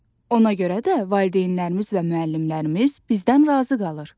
Ona görə də valideynlərimiz və müəllimlərimiz bizdən razı qalır.